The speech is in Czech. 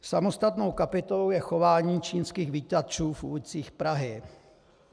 Samostatnou kapitolou je chování čínských vítačů v ulicích Prahy.